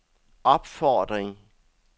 opfordring